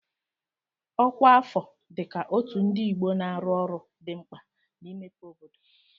Ọkwa afọ dị ka Otu Ndi Igbo na-arụ ọrụ dị mkpa na-imepe obodo.